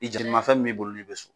I jalimafɛn min b'i bolo n'i be so